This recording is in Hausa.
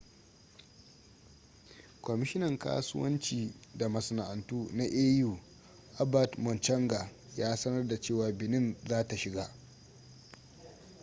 kwamishinan kasuwanci da masana'antu na au albert muchanga ya sanar da cewa benin za ta shiga